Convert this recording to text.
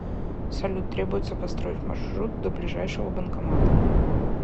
салют требуется построить маршрут до ближайшего банкомата